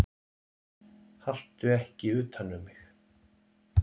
Haltu ekki utan um mig.